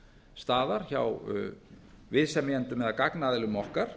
staðar hjá viðsemjendum eða gagnaðilum okkar